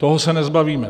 Toho se nezbavíme.